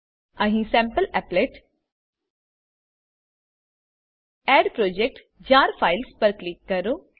અહી સેમ્પલીપલેટ add project JAR files પર ક્લિક કરો